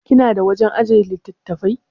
Kina da wajan ajjiye littattafai?